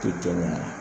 Tɛ kɛ ɲuman ye